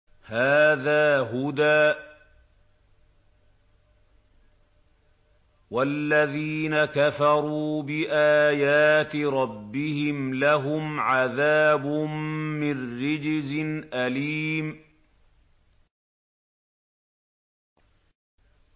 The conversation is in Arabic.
هَٰذَا هُدًى ۖ وَالَّذِينَ كَفَرُوا بِآيَاتِ رَبِّهِمْ لَهُمْ عَذَابٌ مِّن رِّجْزٍ أَلِيمٌ